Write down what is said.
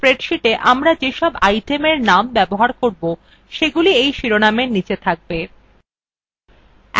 এই spreadsheetwe আমরা যেসব itemএর names ব্যবহার করব সেগুলি এই শিরোনামের নীচে থাকবে